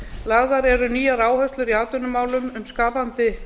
lagðar eru nýjar áherslur í atvinnumálum um skapandi